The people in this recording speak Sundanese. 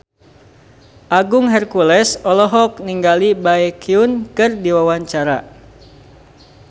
Agung Hercules olohok ningali Baekhyun keur diwawancara